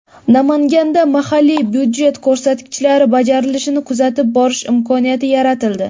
Namanganda mahalliy budjet ko‘rsatkichlari bajarilishini kuzatib borish imkoniyati yaratildi.